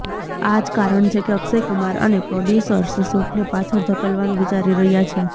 આજ કારણ છે કે અક્ષયકુમાર અને પ્રોડ્યુસર્સ શૂટને પાછળ ધકેલવાનું વિચારી રહ્યા છે